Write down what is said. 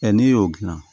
n'i y'o dilan